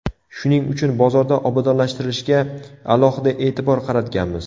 Shuning uchun bozorda obodonlashtirishga alohida e’tibor qaratganmiz.